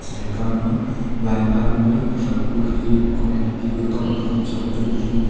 jaikama line adam la kuthau kukhi le kumai phai tiyu gatok ma khanyak chong tong tiyu.